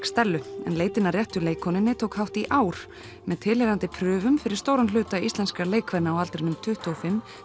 Stellu en leitin að réttu leikkonunni tók hátt í ár með tilheyrandi fyrir stóran hluta íslenskra á aldrinum tuttugu og fimm